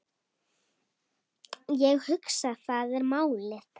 Ég hugsa, það er málið.